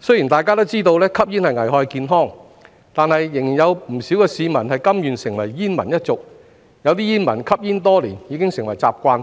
雖然大家都知道吸煙危害健康，但仍有不少市民甘願成為煙民一族，有些煙民吸煙多年，已成習慣，